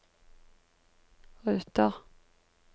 ruter